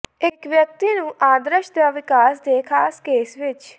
ਇੱਕ ਵਿਅਕਤੀ ਨੂੰ ਆਦਰਸ਼ ਦਾ ਵਿਕਾਸ ਦੇ ਖਾਸ ਕੇਸ ਵਿੱਚ